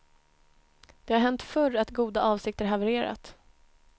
Det har hänt förr att goda avsikter havererat.